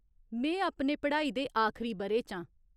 में अपने पढ़ाई दे आखरी ब'रे च आं।